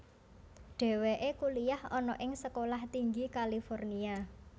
Dheweke kuliyah ana ing Sekolah Tinggi California